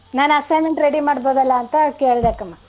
ನಾನ್ assignment ready ಮಾಡ್ಬೋದಲ್ಲಾ ಅಂತ ಕೇಳ್ದೆ ಕ್ಕಮ್ಮ.